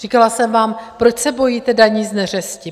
Říkala jsem vám, proč se bojíte daní z neřesti?